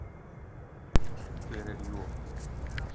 Hver er Job?